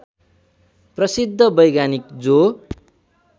प्रसिद्ध वैज्ञानिक जो